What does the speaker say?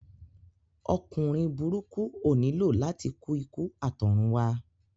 Ọkùnrin burúkú ó nílò láti kú ikú àtọ̀runwá